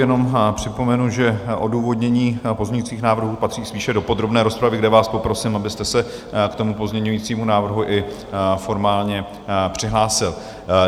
Jenom připomenu, že odůvodnění pozměňujících návrhů patří spíše do podrobné rozpravy, kde vás poprosím, abyste se k tomu pozměňujícímu návrhu i formálně přihlásil.